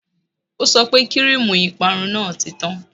O sọ pé kíríìmù ìparun náà ti tán